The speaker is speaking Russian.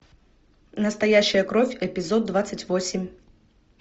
настоящая кровь эпизод двадцать восемь